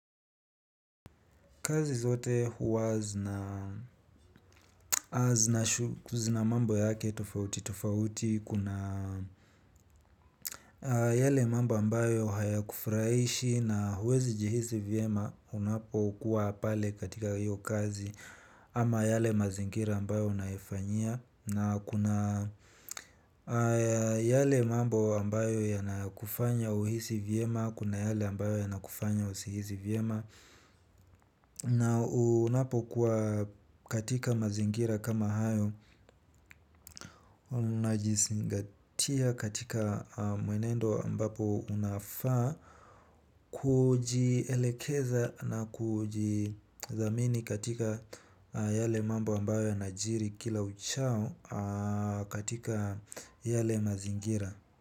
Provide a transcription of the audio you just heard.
Kazi zote huwa zina mambo yake tufauti tufauti kuna yale mambo ambayo haya kufrahishi na huwezi jihisi vyema unapokuwa pale katika hiyo kazi ama yale mazingira ambayo unaifanyia na kuna yale mambo ambayo yanakufanya uhisi vyema kuna yale ambayo yanakufanya usihisi vyema. Na unapo kuwa katika mazingira kama hayo unajizingatia katika mwenendo ambapo unafaa kuji elekeza na kuji dhamini katika yale mambo ambayo yanajiri kila uchao katika yale mazingira.